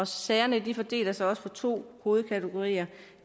sagerne fordeler sig på to hovedkategorier